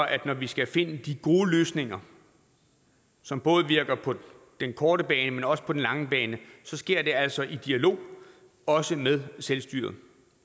at når vi skal finde de gode løsninger som både virker på den korte bane men også på den lange bane sker det altså i dialog også med selvstyret